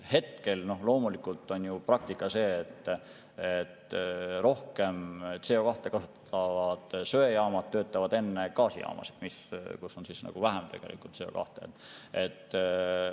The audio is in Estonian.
Hetkel loomulikult on praktika aga see, et rohkem CO2‑ kasutavad söejaamad töötavad enne gaasijaamasid, kus on tegelikult vähem CO2.